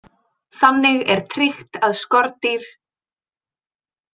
Þannig er tryggt að skordýr.